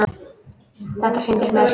Þetta sýndist mér!